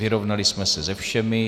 Vyrovnali jsme se se všemi.